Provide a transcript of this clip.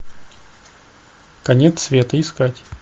конец света искать